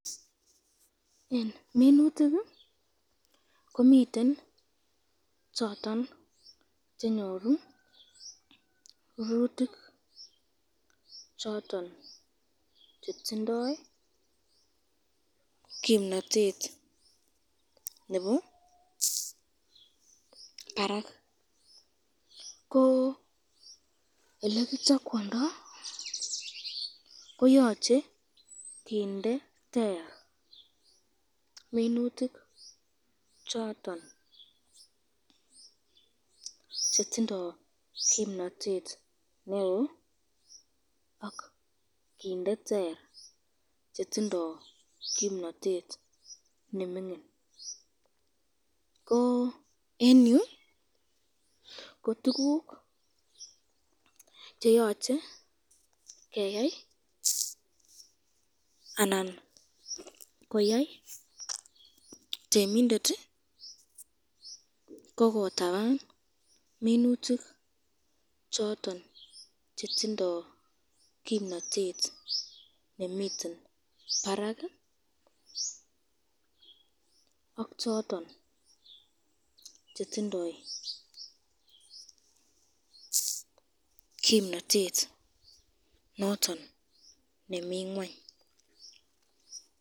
Eng minutik komiten choton chenyoru rurutik choton chetindoi kimnatet nebo barak, ko elekichakwando koyoche kinde ter minutik choton chet